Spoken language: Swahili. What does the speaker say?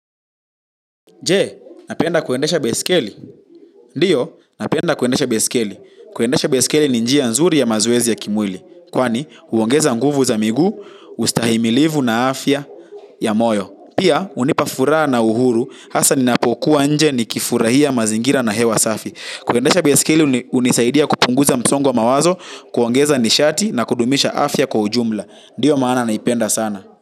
Je, napenda kuendesha baiskeli. Ndiyo, napenda kuendesha baiskeli. Kuendesha baiskeli ni njia nzuri ya mazoezi ya kimwili. Kwani, uongeza nguvu za miguu, ustahimilivu na afya ya moyo. Pia, unipa furaha na uhuru, hasa ninapokuwa nje niki furahia mazingira na hewa safi. Kuendesha baiskeli, unisaidia kupunguza msongo wa mawazo, kuongeza nishati na kudumisha afya kwa ujumla. Ndiyo, maana naipenda sana.